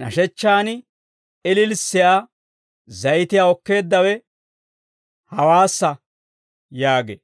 nashechchaan ililissiyaa zayitiyaa okkeeddawe hawaassa» yaagee.